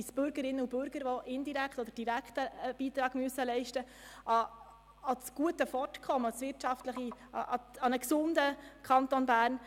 Es sind aber auch die Bürgerinnen und Bürger, welche direkt oder indirekt einen Beitrag an das gesunde Vorankommen des Kantons Bern leisten müssen.